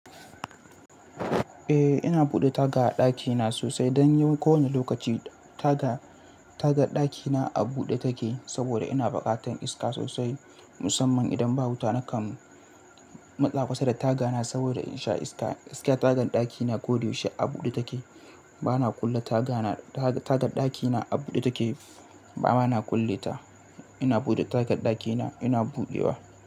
Eh ina buɗe taga a ɗakina sosai don ni kowane lokaci taga, tagar ɗakina a buɗe take saboda ina buƙatar iska sosai musamman idan ba wuta nakan matsa kusa da tagana saboda in sha iska. Iska tagar ɗakina koyaushe a buɗe take. Bana kulle tagana, tagar ɗakina a buɗe take bana kulle ta. Ina buɗe tagar ɗakina ina buɗewa.